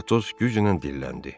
Atos güclə dilləndi.